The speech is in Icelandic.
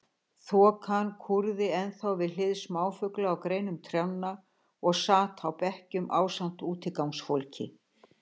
Þokan kúrði ennþá við hlið smáfugla á greinum trjánna og sat á bekkjum ásamt útigangsfólki.